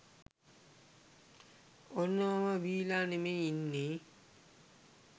ඔන්න මම බීලා නෙමේ ඉන්නේ